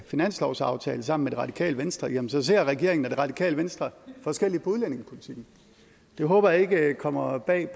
finanslovsaftale sammen radikale venstre jamen så ser regeringen og det radikale venstre forskelligt på udlændingepolitikken det håber jeg ikke kommer bag